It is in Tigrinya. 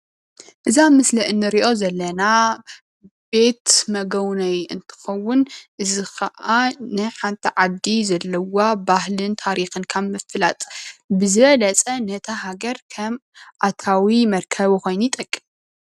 እዛ ኣብ ምስሊ እንርእዮ ዘለና ቤት መገቡነዪ እንትኸውን እዙይ ከዓ ንሓንቲ ዓዲ ዘለዋ ባህልን ታሪክ ካብ ምፍላጥ ብዝበለፀ ነታ ሃገር ከም ኣታዊ መርከቢ ኮይኑ ይጠቅም።